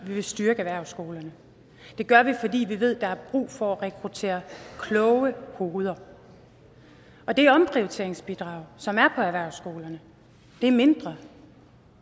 vil styrke erhvervsskolerne det gør vi fordi vi ved der er brug for at rekruttere kloge hoveder og det omprioriteringsbidrag som er lagt på erhvervsskolerne er mindre